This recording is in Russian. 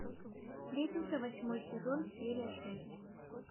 сплетница восьмой сезон серия шесть